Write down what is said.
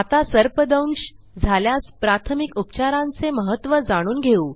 आता सर्पदंश झाल्यास प्राथमिक उपचारांचे महत्त्व जाणून घेऊ